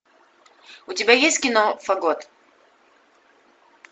у тебя есть кино фагот